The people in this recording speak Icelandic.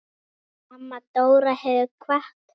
Amma Dóra hefur kvatt.